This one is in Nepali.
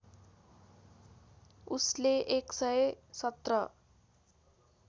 उसले १ सय १७